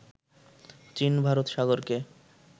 চীন ভারত সাগরকে